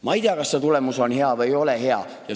Ma ei tea, kas see tulemus on hea või ei ole hea.